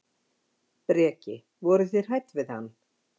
Breki: Voruð þið hrædd við hann?